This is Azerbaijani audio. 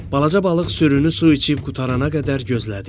Balaca balıq sürünü su içib qurtarana qədər gözlədi.